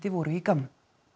voru í gámnum